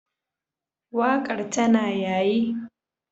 Waƙar tana yayi.